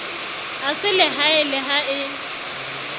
a selehae le ha e